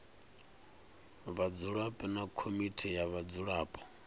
vhadzulapo na komiti ya vhadzulapo